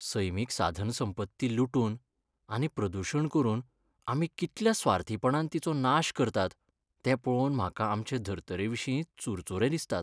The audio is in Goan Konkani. सैमीक साधनसंपत्ती लुटून आनी प्रदुशण करून आमी कितल्या स्वार्थीपणान तिचो नाश करतात तें पळोवन म्हाका आमचे धरतरेविशीं चुरचूरे दिसतात.